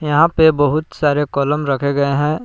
यहां पे बहुत सारे कलम रखे गए हैं।